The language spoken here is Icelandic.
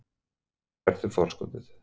Hvert er forskotið?